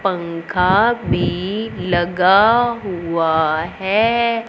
पंखा भी लगा हुआ है।